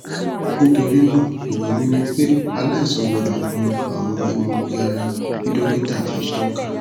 nitorinaa ero mi ni pe alaisan gbọdọ mu awọn egboogiara bi dokita ti tọka